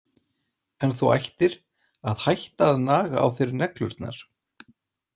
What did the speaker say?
En þú ættir að hætta að naga á þér neglurnar!